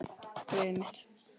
Greyið mitt